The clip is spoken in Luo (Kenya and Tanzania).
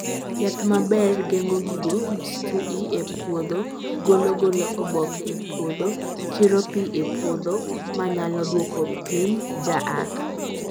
yath maber, geng'o gigo mstui e puodho golo golo oboke e puodho, kiro pi e puodho ma nyalo duoko piny jaath